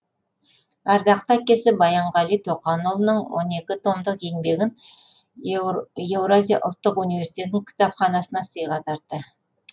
ардақты әкесі баянғали тоқанұлының он екі томдық еңбегін евразия ұлттық университеті кітапханасына сыйға тартты